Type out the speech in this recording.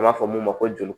An b'a fɔ mun ma ko joli